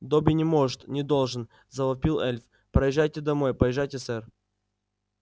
добби не может не должен завопил эльф поезжайте домой поезжайте сэр